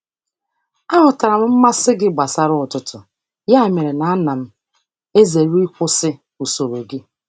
Aghọtara m mmasị gị gbasara ụtụtụ, ya mere na ana m ezere ịkwụsị usoro gị.